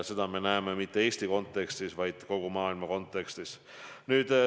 Seda me ei näe mitte ainult Eesti kontekstis, vaid kogu maailma kontekstis.